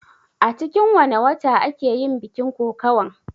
A cikin wanne wata ake yin bikin kokawan?